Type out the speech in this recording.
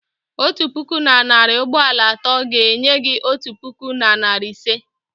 otu puku na narị ugboro atọ ga-enye gị otu puku na narị ise.